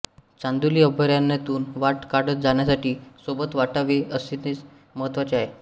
चांदोली अभयारण्यातून वाट काढत जाण्यासाठी सोबत वाटाडे असणे महत्त्वाचे आहे